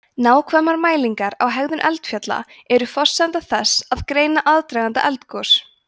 nákvæmar mælingar á hegðun eldfjalla eru forsenda þess að greina aðdraganda eldgos